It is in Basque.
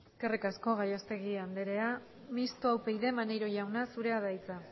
eskerrik asko gallastegui anderea mistoa upyd maneiro jauna zurea da hitza